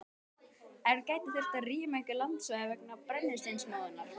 En gæti þurft að rýma einhver landsvæði vegna brennisteinsmóðunnar?